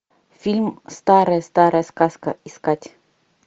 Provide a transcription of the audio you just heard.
фильм старая старая сказка искать